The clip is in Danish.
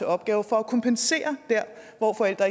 opgave for at kompensere der hvor forældre